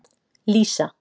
Lísa